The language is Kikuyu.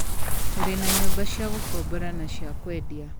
Tũrĩ na nyũmba cia gũkombora na cia kwendia.